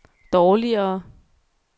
dårligere